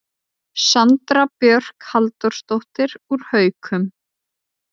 Sandra Björk Halldórsdóttir úr Haukum